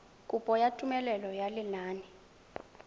kopo ya tumelelo ya lenane